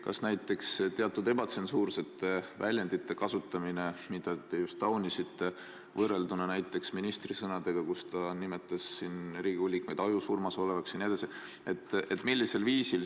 Kuidas on lood näiteks teatud ebatsensuursete väljendite kasutamisega, mida te just taunisite, võrrelduna näiteks ministri sõnadega, kui ta nimetas Riigikogu liikmeid ajusurmas olevaks jne?